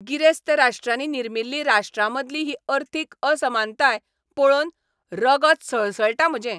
गिरेस्त राष्ट्रांनी निर्मिल्ली राष्ट्रांमदली ही अर्थीक असमानताय पळोवन रगत सळसळटा म्हजें.